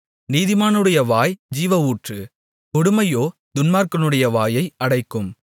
நீதிமானுடைய வாய் ஜீவஊற்று கொடுமையோ துன்மார்க்கனுடைய வாயை அடைக்கும்